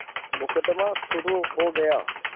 मुकदमा शुरु हो गया